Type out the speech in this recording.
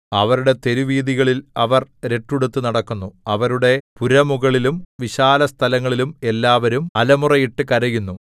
അവരുടെ തെരുവീഥികളിൽ അവർ രട്ടുടുത്തു നടക്കുന്നു അവരുടെ പുരമുകളിലും വിശാലസ്ഥലങ്ങളിലും എല്ലാവരും അലമുറയിട്ടു കരയുന്നു